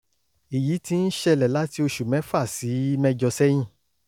èyí ti ń ṣẹlẹ̀ láti oṣù mẹ́fà sí mẹ́jọ sẹ́yìn